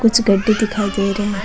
कुछ गड्ढ़े दिखाई दे रहे है।